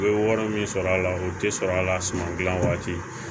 U ye wari min sɔrɔ a la u tɛ sɔrɔ a la suman gilan waati